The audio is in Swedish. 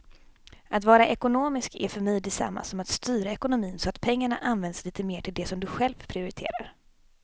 Att vara ekonomisk är för mig detsamma som att styra ekonomin så att pengarna används lite mer till det som du själv prioriterar.